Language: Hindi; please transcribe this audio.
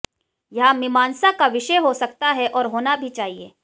यह मीमांसा का विषय हो सकता है और होना भी चाहिए